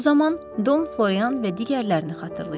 Bu zaman Don Florian və digərlərini xatırlayıram.